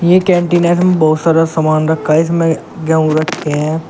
ये कंटेनर में बहुत सारा सामान रखा इसमें गेहूं रखे हैं।